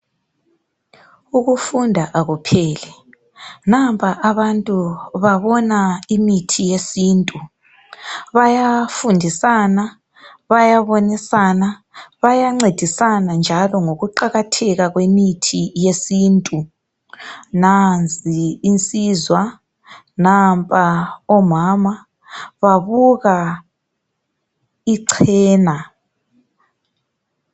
Ukufunda akupheli nampa abantu babona imithi yesintu, bayafundisana, bayabonisana, bayancedisanna njalo ngokuqakatheka kwemithi yesintu. Nansi insizwa, nampa omama babuka ichena.